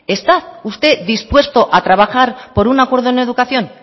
está usted dispuesto a trabajar por un acuerdo en educación